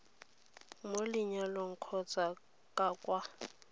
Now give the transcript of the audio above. mo lenyalong kgotsa ka kwa